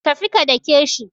Tafi ka dake shi.